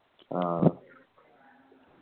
ആ